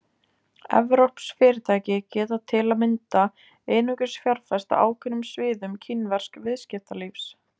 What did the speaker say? Evrópsk fyrirtæki geta til að mynda einungis fjárfest á ákveðnum sviðum kínversks viðskiptalífs.